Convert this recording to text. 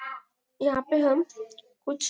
यहाँ पे हम कुछ--